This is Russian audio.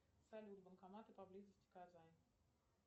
салют банкоматы поблизости казань